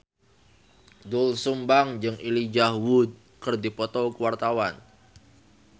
Doel Sumbang jeung Elijah Wood keur dipoto ku wartawan